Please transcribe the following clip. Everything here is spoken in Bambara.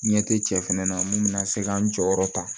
Ɲɛ te cɛ fɛnɛ na mun bɛna se k'an jɔyɔrɔ ta